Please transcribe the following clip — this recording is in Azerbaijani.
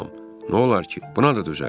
Nolar ki, buna da dözərəm.